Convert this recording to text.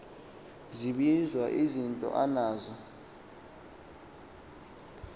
zibizwa izinto anazo